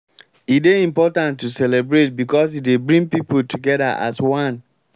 e dey important to celebrate because e dey bring pipo together as one